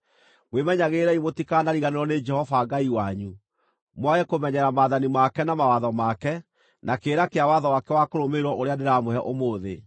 Mwĩmenyagĩrĩrei mũtikanariganĩrwo nĩ Jehova Ngai wanyu, mwage kũmenyerera maathani make na mawatho make, na kĩrĩra kĩa watho wake wa kũrũmĩrĩrwo ũrĩa ndĩramũhe ũmũthĩ.